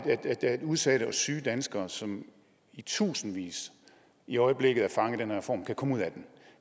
udsatte og syge danskere som i tusindvis i øjeblikket er fanget af den her reform kan komme ud af det